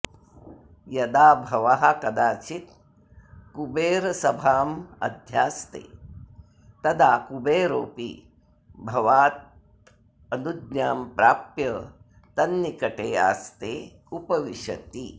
यदा भवः कदाचित्कुबेरसभामध्यास्ते तदा कुबेरोऽपि भवादनुज्ञां प्राप्य तन्निकटे आस्ते उपविशति